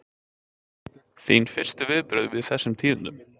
Þín fyrstu viðbrögð við þessum tíðindum?